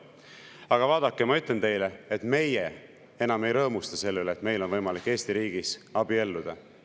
Aga vaadake, ma ütlen teile, et meie enam ei rõõmusta selle üle, et meil on võimalik Eesti riigis abielluda.